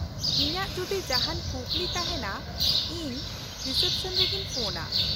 -ᱤᱧᱟᱹᱜ ᱡᱩᱫᱤ ᱡᱟᱦᱟᱱ ᱠᱩᱠᱞᱤ ᱛᱟᱦᱮᱱᱟ, ᱤᱧ ᱨᱤᱥᱮᱯᱥᱚᱱᱨᱮᱜᱤᱧ ᱯᱷᱳᱱᱼᱟ ᱾